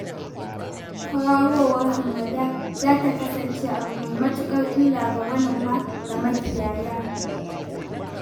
Kwararowar hamada za ta kasance abu mai matuƙar illa ga manoma da makiyaya